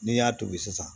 N'i y'a tobi sisan